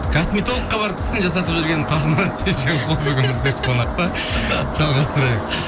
косметологқа барып тісін жасатып жүрген қажымұрат шешенқұл бүгін бізде қонақта жалғастырайық